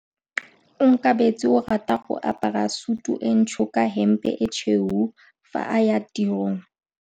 Onkabetse o rata go apara sutu e ntsho ka hempe e tshweu fa a ya tirong.